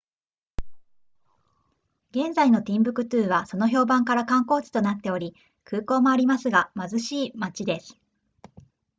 現在のティンブクトゥはその評判から観光地となっており空港もありますが貧しい町です